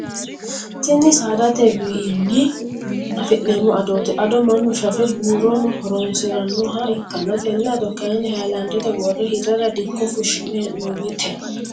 Tinni saadate wiinni afi'nanni adooti. Ado mannu shafe buurono horoonsiranoha ikanna tenne ado kayinni hayilaandete wore hirara dikko fushine hee'noonnite.